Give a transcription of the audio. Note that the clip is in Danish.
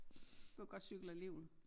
Du kan godt cykle alligevel